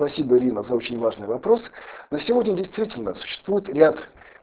спасибо ирина за очень важный вопрос но сегодня действительно существует ряд